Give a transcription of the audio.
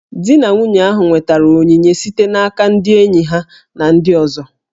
Di na nwunye ahụ nwetara onyinye site n'aka ndị enyi ha na ndị ọzọ